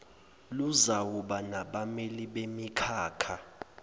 luzawuba nabameli bemikhakha